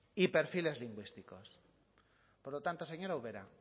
y perfiles lingüísticos por lo tanto señora ubera